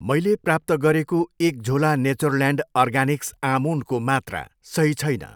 मैले प्राप्त गरेको एक झोला नेचरल्यान्ड अर्गानिक्स आमोन्डको मात्रा सही छैन।